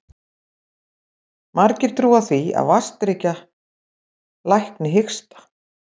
Margir trúa því að vatnsdrykkja lækni hiksta.